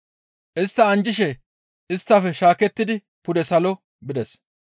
Istta anjjishe isttafe shaakettidi pude salo bides.